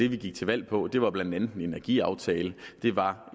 vi gik til valg på det var blandt andet en energiaftale og det var